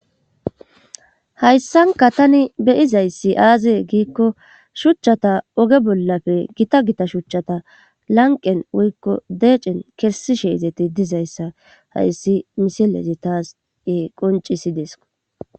hayssanka tani beyizayssi aazee giikko shuchchata oge bollafe gita gita shuchchata lanqen woykko deecen kessishe izeti dizayssa hayssi misilezi taas qoncisideesikko